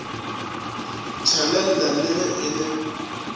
tshelela le ge e le